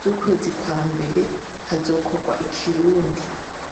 z'ukwezi kwa mbere hazokorwa ikirundi.